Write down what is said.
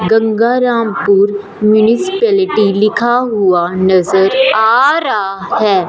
Gangarampur municipality लिखा हुआ नजर आ रहा है।